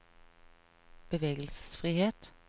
bevegelsesfrihet